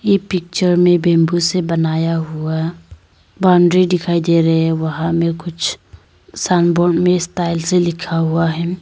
ये पिक्चर में बंबू से बनाया हुआ बाउंड्री दिखाई दे रहे हैं वहां में कुछ साइन बोर्ड में स्टाइल से लिखा हुआ है।